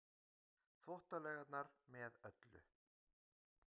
Þvottalaugarnar með öllu.